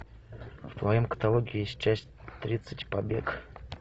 в твоем каталоге есть часть тридцать побег